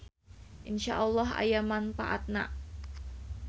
InsyaAlloh aya mangpaatna.